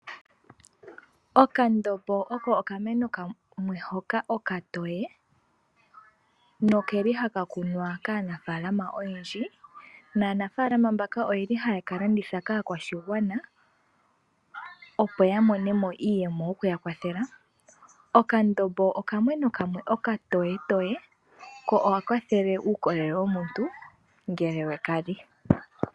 Okandombo oko okayimati kamwe hoka okatoye noke li haka kunwa kaanaafalama oyendji. Aanafaalama mbaka ohaye ka landitha kaakwashigwana, opo ya mone mo iiyemo yokuya kwathela. Okandombo okayimati kamwe okatoyetoye nohaka kwathele uukolele womuntu ngele we ka li.